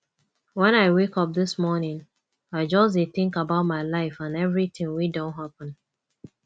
wen i wake up dis morning i just dey think about my life and everything wey don happen